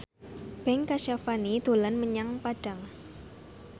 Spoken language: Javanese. Ben Kasyafani dolan menyang Padang